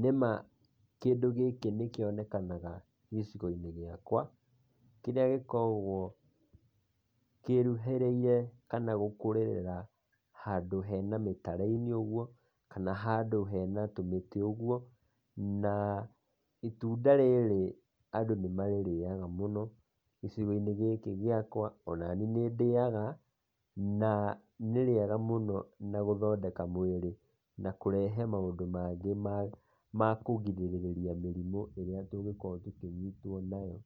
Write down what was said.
Nĩma, kĩndũ gĩkĩ nĩkĩonekanaga gĩcigo-inĩ gĩakũa. Kĩrĩa gĩkoragũo kĩruhĩrĩire, kana gũkũrĩrĩra, handũ he na mĩtare-inĩ ũguo, kana handũ hena tũmĩtĩ ũguo. Naa, itunda rĩrĩ, andũ nĩmarĩrĩaga mũno gĩcigo-inĩ gĩkĩ gĩakũa, onaniĩ nĩndĩaga, naa, nĩrĩega mũno na gũthondeka mwĩrĩ, na kũrehe maũndũ mangĩ ma ma kũrigĩrĩria mĩrimũ ĩrĩa tũngĩkorũo tũkĩnyitũo nayo,